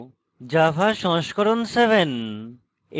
java সংস্করণ 7 এবং